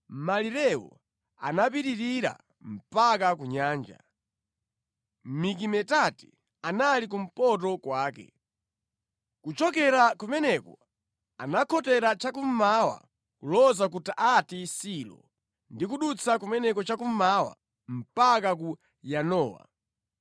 Malirewo anapitirira mpaka ku nyanja. Mikimetati anali kumpoto kwake. Kuchokera kumeneko anakhotera cha kummawa kuloza ku Taanati Silo ndi kudutsa kumeneko cha kummawa mpaka ku Yanowa.